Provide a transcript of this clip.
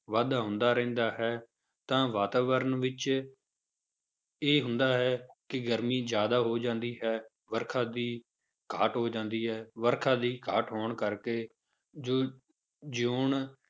ਵਾਧਾ ਹੁੰਦਾ ਰਹਿੰਦਾ ਹੈ ਤਾਂ ਵਾਤਾਵਰਨ ਵਿੱਚ ਇਹ ਹੁੰਦਾ ਹੈ ਕਿ ਗਰਮੀ ਜ਼ਿਆਦਾ ਹੋ ਜਾਂਦੀ ਹੈ, ਵਰਖਾ ਦੀ ਘਾਟ ਹੋ ਜਾਂਦੀ ਹੈ, ਵਰਖਾ ਦੀ ਘਾਟ ਹੋਣ ਕਰਕੇ ਜੋ ਜਿਊਣ